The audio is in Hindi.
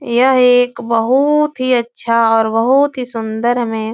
यह एक बहूत ही अच्छा और बहूत ही सुन्दर हमें --